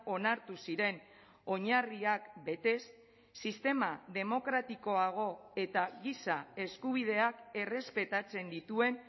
onartu ziren oinarriak betez sistema demokratikoago eta giza eskubideak errespetatzen dituen